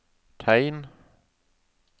tegn